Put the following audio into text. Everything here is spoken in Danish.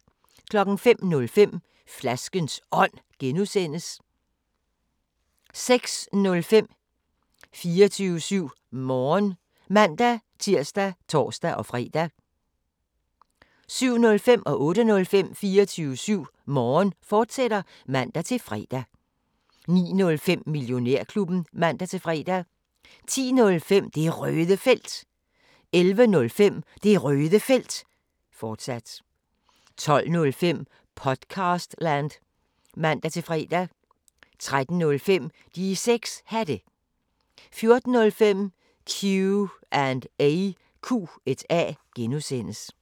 05:05: Flaskens Ånd (G) 06:05: 24syv Morgen (man-tir og tor-fre) 07:05: 24syv Morgen, fortsat (man-fre) 08:05: 24syv Morgen, fortsat (man-fre) 09:05: Millionærklubben (man-fre) 10:05: Det Røde Felt 11:05: Det Røde Felt, fortsat 12:05: Podcastland (man-fre) 13:05: De 6 Hatte 14:05: Q&A (G)